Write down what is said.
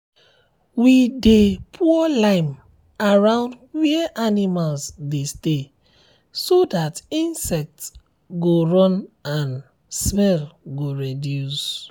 we dey pour lime around where animals dey stay so that insects go run and smell go reduce.